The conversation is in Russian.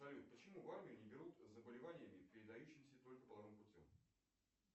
салют почему в армию не берут с заболеваниями передающимися только половым путем